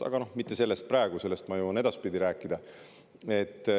Aga sellest kõigest ma jõuan edaspidi rääkida.